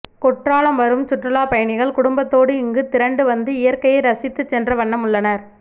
குற்றாலம் வரும் சுற்றுலாப் பயணிகள் குடும்பத்தோடு இங்கு திரண்டுவந்து இயற்கையை ரசித்து சென்ற வண்ணம் உள்ளனர்